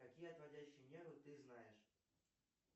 какие отводящие нервы ты знаешь